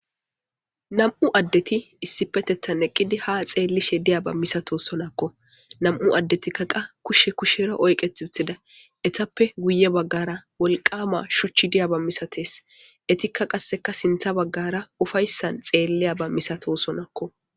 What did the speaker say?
nam7u addeti issipetetan eqqidi ha xeellishe diya ba misato sonakko nam7u addetikkaqa kushe kushero oyqet uthida etappe guye baggara wolqama shuchchi diya ba misates etikka qasseka sintha baggara ufayssan xeelliya ba misato sonakko